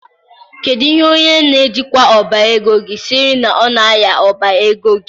Kedu ihe onye na-ejikwa ọbá ego gị siri na ọ na-aya ọbá ego gi?